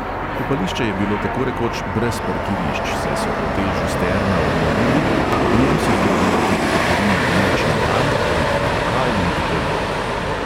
Kopališče je bilo tako rekoč brez parkirišč, saj so hotel žusterna obnovili, ob njem so zgradili tudi trgovino noč in dan, uredili lokal in tako dalje.